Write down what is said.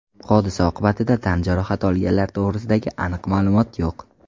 Hodisa oqibatida tan jarohati olganlar to‘g‘risidagi aniq ma’lumot yo‘q.